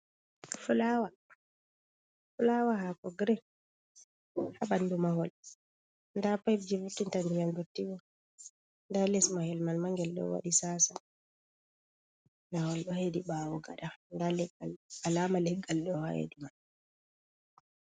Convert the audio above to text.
Fulaawa, fulaawa haako "girin" ha ɓanndu mahol, ndaa "payeb" jey vurtinta ndiyam dotti bo, ndaa les mahel may ma ngel ɗo waɗi "tsaatsa". Mahol ɗo heedi ɓaawo gada, ndaa leggal, alaama leggal ɗo ha heedi man.